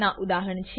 ના ઉદાહરણ છે